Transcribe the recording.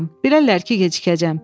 Bilərlər ki, gecikəcəm.